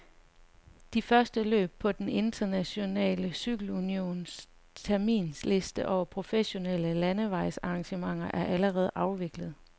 De første løb på den internationale cykelunions terminsliste over professionelle landevejsarrangementer er allerede afviklet.